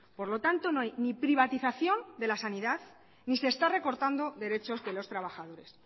por lo tanto no hay ni privatización de la sanidad ni se está recortando derechos de los trabajadores